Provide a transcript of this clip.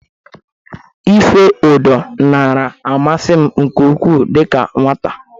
Ife ụdọ nara amasị m nke ukwu dịka nwata.